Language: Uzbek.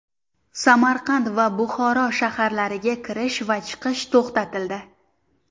Samarqand va Buxoro shaharlariga kirish va chiqish to‘xtatildi.